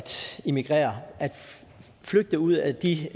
emigrere at flygte ud af de